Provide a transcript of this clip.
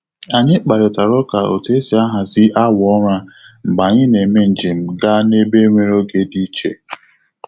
Anyị kparịtara ụka otu esi ahazi awa ụra mgbe anyị na-eme njem gaa n'ebe nwere oge dị iche.